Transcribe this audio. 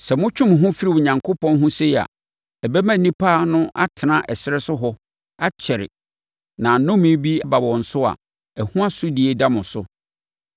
Sɛ motwe mo ho firi Onyankopɔn ho sei a, ɔbɛma nnipa no atena ɛserɛ so hɔ akyɛre na sɛ nnome bi ba wɔn so a, ɛho asodie da mo so.”